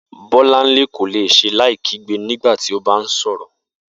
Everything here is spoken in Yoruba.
Bó̩lánlé kò le s̩e láì kígbe nígbà tí ó bá ǹ sò̩rò̩